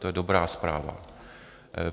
To je dobrá zpráva.